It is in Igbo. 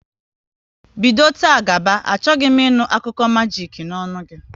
Bido taa gaba, achọghị m ị nụ akụkọ majik n'ọnụ gị!